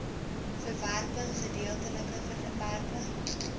verwerping gedeeltelike verwerping